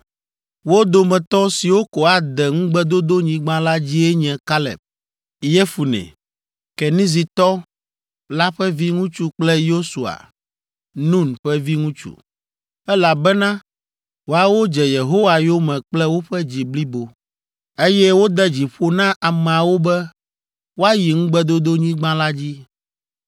Wo dometɔ siwo ko ade Ŋugbedodonyigba la dzie nye Kaleb, Yefune, Kenizitɔ la ƒe viŋutsu kple Yosua, Nun ƒe viŋutsu, elabena woawo dze Yehowa yome kple woƒe dzi blibo, eye wode dzi ƒo na ameawo be woayi Ŋugbedodonyigba la dzi.’